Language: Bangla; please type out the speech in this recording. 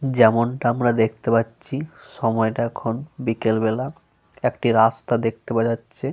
যেমনটা আমরা দেখতে পাচ্ছি সময়টা এখন বিকেল বেলা। একটি রাস্তা দেখতে পাওয়া যাচ্ছে।